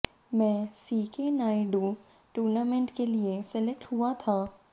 मैं C K Naidu tournament के लिए सेलेक्ट हुआ था